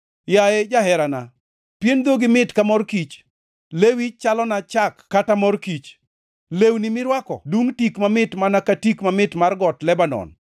Yaye jaherana, pien dhogi mit ka mor kich; lewi chalona chak kata mor kich. Lewni mirwako dungʼ tik mamit mana ka tik mamit mar got Lebanon.